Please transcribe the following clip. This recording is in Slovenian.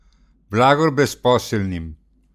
Blagor brezposelnim!